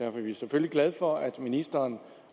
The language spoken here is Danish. er vi selvfølgelig glade for at ministeren